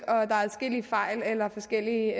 adskillige fejl eller forskellige